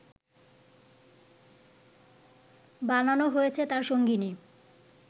বানানো হয়েছে তার সঙ্গিনী